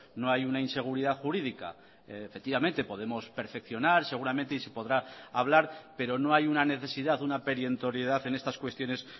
no hay una inseguridad jurídica efectivamente podemos perfeccionar seguramente y se podrá hablar pero no hay una necesidad una perentoriedad en estas cuestiones